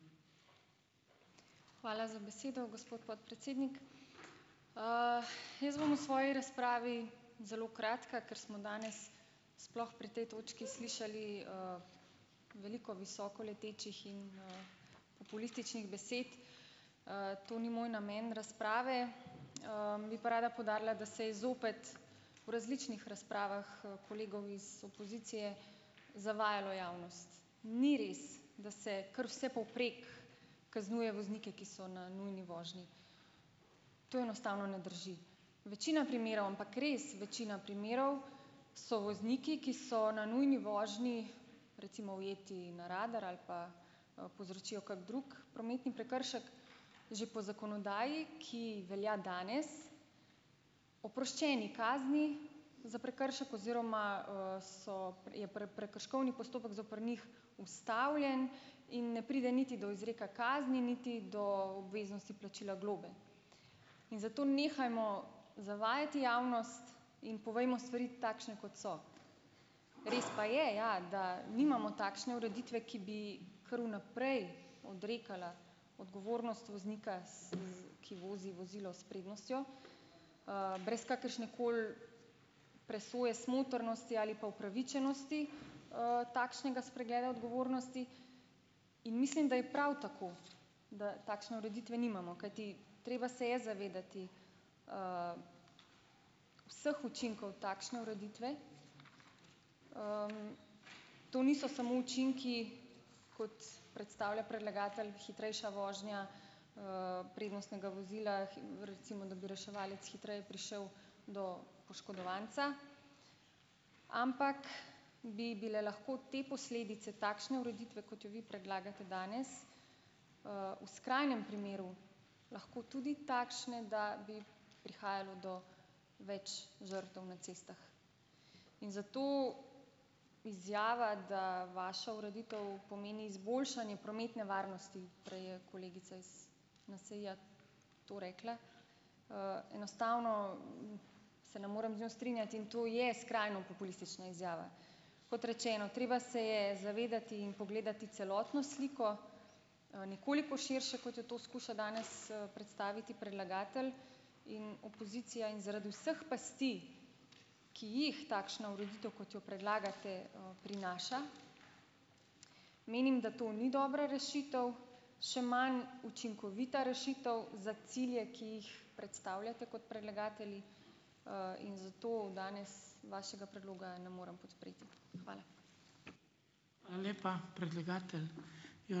Hvala za besedo, gospod podpredsednik. Jaz bom v svoji razpravi zelo kratka, ker smo danes, sploh pri tej točki slišali, veliko visoko letečih in, populističnih besed, To ni moj namen razprave. Bi pa rada poudarila, da se je zopet v različnih razpravah, kolegov iz opozicije zavajalo javnost. Ni res, da se kar vsepovprek kaznuje voznike, ki so na nujni vožnji. To enostavno ne drži. Večina primerov, ampak res večina primerov, so vozniki, ki so na nujni vožnji, recimo ujeti na radar ali pa, povzročijo kako drug prometni prekršek, že po zakonodaji, ki velja danes, oproščeni kazni za prekršek oziroma, so je prekrškovni postopek zoper njih ustavljen in ne pride niti do izreka kazni niti do obveznosti plačila globe. In zato nehajmo zavajati javnost in povejmo stvari takšne, kot so. Res pa je, ja, da nimamo takšne ureditve, ki bi kar vnaprej odrekala odgovornost voznika, s z ki vozi vozilo s prednostjo, brez kakršnekoli presoje, smotrnosti ali pa upravičenosti, takšnega spregleda odgovornosti in mislim, da je prav tako, da takšne ureditve nimamo. Kajti, treba se je zavedati, vseh učinkov takšne ureditve. To niso samo učinki, kot predstavlja predlagatelj, hitrejša vožnja, prednostnega vozila, recimo, da bi reševalec hitreje prišel do poškodovanca, ampak bi bile lahko te posledice takšne ureditve, kot jo vi predlagate danes, v skrajnem primeru lahko tudi takšne, da bi prihajalo do več žrtev na cestah. In zato izjava, da vaša ureditev pomeni izboljšanje prometne varnosti, prej je kolegica iz NSi-ja to rekla, enostavno se ne morem z njo strinjati in to je skrajno populistična izjava. Kot rečeno, treba se je zavedati in pogledati celotno sliko, nekoliko širše, kot jo to skuša danes, predstaviti predlagatelj in opozicija. In zaradi vseh pasti, ki jih takšna ureditev, kot jo predlagate, prinaša, menim, da to ni dobra rešitev, še manj učinkovita rešitev za cilje, ki jih predstavljate kot predlagatelji, in zato danes vašega predloga ne morem podpreti. Hvala.